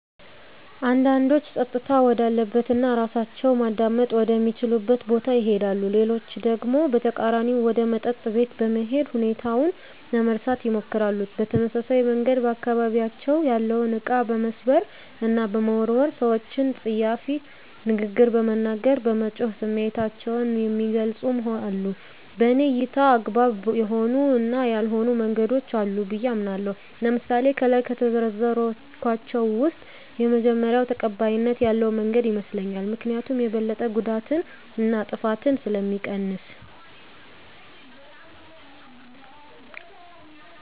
አንዳንዶች ፀጥታ ወዳለበት እና እራሳቸውን ማዳመጥ ወደ ሚችሉበት ቦታ ይሄዳሉ። ሌሎች ደግሞ በተቃራኒው ወደ መጠጥ ቤት በመሄድ ሁኔታውን ለመርሳት ይሞክራሉ። በተመሳሳይ መንገድ በአካባቢያቸው ያለውን እቃ በመስበር እና በመወርወር፣ ሰወችን ፀያፍ ንግግር በመናገር፣ በመጮህ ስሜታቸውን የሚገልፁም አሉ። በኔ እይታ አግባብ የሆኑ እና ያልሆኑ መንገዶች አሉ ብየ አምናለሁ። ለምሳሌ ከላይ ከዘረዘርኳቸው ውስጥ የመጀመሪው ተቀባይነት ያለው መንገድ ይመስለኛል። ምክኒያቱም የበለጠ ጉዳትን እና ጥፋትን ስለሚቀንስ።